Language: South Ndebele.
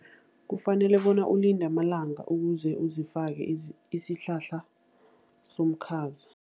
Kufanele bona ulinde amalanga ukuze uzifake isihlahla somkhaza.